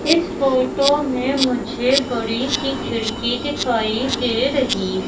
इस फोटो में मुझे बड़ी सी खिड़की दिखाई दे रही--